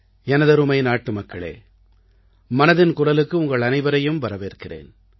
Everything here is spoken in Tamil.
எனதருமை நாட்டுமக்களே மனதின் குரலுக்கு உங்கள் அனைவரையும் வரவேற்கிறேன்